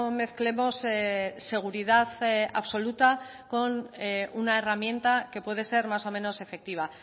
mezclemos seguridad absoluta con una herramienta que puede ser más o menos efectiva